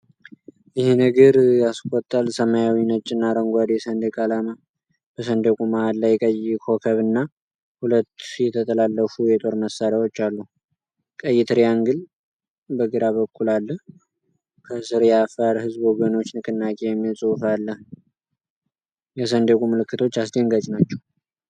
ይሄ ነገር ያስቆጣል! ሰማያዊ፣ ነጭና አረንጓዴ ሰንደቅ ዓላማ። በሰንደቁ መሃል ላይ ቀይ ኮከብ እና ሁለት የተጠላለፉ የጦር መሳሪያዎች አሉ። ቀይ ትሪያንግል በግራ በኩል አለ። ከስር "የአፋር ሕዝብ ወገኖች ንቅናቄ" የሚል ጽሑፍ አለ። የሰንደቁ ምልክቶች አስደንጋጭ ናቸው!